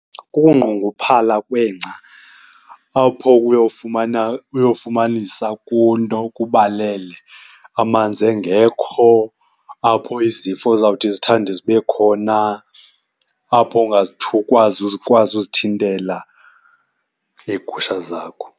Kukunqongophala kwengca apho uyowufumana, uyofumanisa kunto, kubalele amanzi engekho, apho izifo zawuthi zithande zibe khona, apho ukwazi ukwazi uzithintela leegusha zakho.